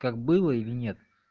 как было или нет